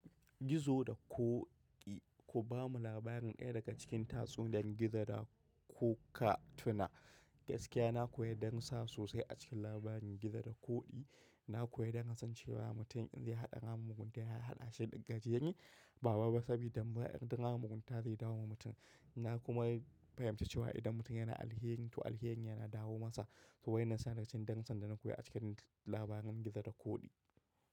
Gizo da ƙoƙi. Ku ba mu labarin ɗaya daga cikin tatsuniyar Gizo da ku ka tuna. Gaskiya na koyi darusa sosai a cikin labarin Gizo da ƙoƙi. Na koyi don kasancewa mutum in zai haɗa ramin mugunta yayi haɗashi da gajeren. Ba babba sabida dambarar ɗin ramin mugunta zai dawo wa mutum. Na kuma fahimci cewa idan mutum yana alheri to alheri yana dawo masa. To wai na san da cin dansa da na koyi a cikin labarin Gizo da ƙoƙi.